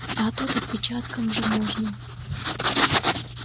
а тут отпечатком же можно